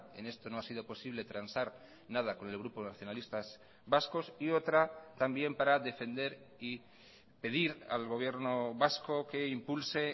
en esto no ha sido posible transar nada con el grupo nacionalistas vascos y otra también para defender y pedir al gobierno vasco que impulse